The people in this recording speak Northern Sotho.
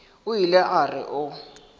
o ile a re o